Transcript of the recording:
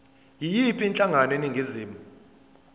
yiyiphi inhlangano eningizimu